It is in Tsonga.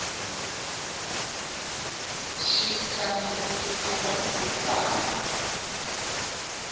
xi kandziyisa vanhu vo tala